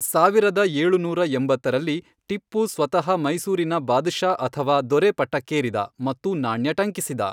ಸಾವಿರದ ಏಳುನೂರ ಎಂಬತ್ತರಲ್ಲಿ, ಟಿಪ್ಪು ಸ್ವತಃ ಮೈಸೂರಿನ ಬಾದ್ ಷಾ ಅಥವಾ ದೊರೆ ಪಟ್ಟಕ್ಕೇರಿದ ಮತ್ತು ನಾಣ್ಯ ಟಂಕಿಸಿದ.